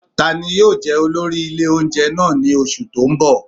Ta ni yóò jẹ olórí ilé oúnjẹ náà ní oṣù tó ń bọ̀?